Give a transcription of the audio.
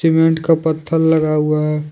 Cement का पत्थल लगा हुआ है।